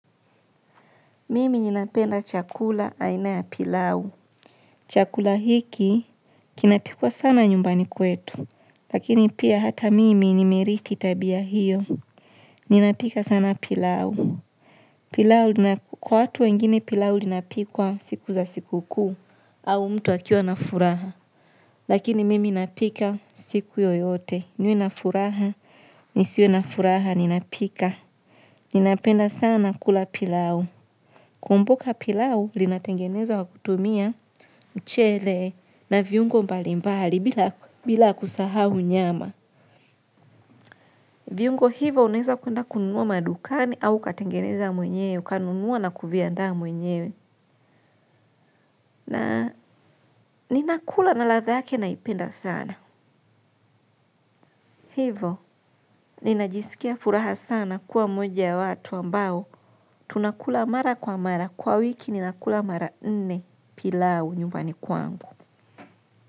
Mimi ninapenda chakula aina ya pilau. Chakula hiki kinapikwa sana nyumbani kwetu. Lakini pia hata mimi nimeriki tabia hiyo. Ninapika sana pilau. Kwa watu wengine pilau linapikwa siku za siku kuu. Au mtu akiwa na furaha. Lakini mimi napika siku yoyote. Niwe na furaha, nisiwe na furaha, ninapika. Ninapenda sana kula pilau. Kumbuka pilau linatengenezwa kutumia mchele na viungo mbali mbali bila kusahau nyama viuingo hivo unaweza kuenda kununua madukani au ukatengeza mwenyewe, ukanunua na kuviandaa mwenyewe ninakula na ladha yake naipenda sana. Hivo ninajisikia furaha sana kuwa mmoja ya watu ambao tunakula mara kwa mara kwa wiki ninakula mara nne pilau nyumbani kwangu.